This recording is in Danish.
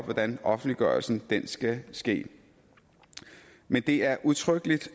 hvordan offentliggørelsen skal ske men det er udtrykkeligt